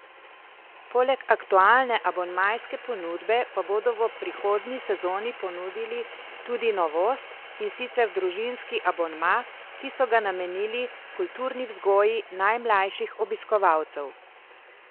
Poleg aktualne abonmajske ponudbe pa bodo v prihodnji sezoni ponudili tudi novost, in sicer družinski abonma, ki so ga namenili kulturni vzgoji najmlajših obiskovalcev.